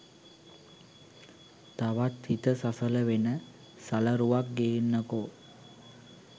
තවත් හිත සසල වෙන සලරුවක් ගේන්නකෝ